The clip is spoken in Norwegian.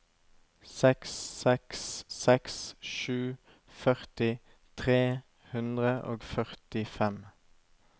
seks seks seks sju førti tre hundre og førtifem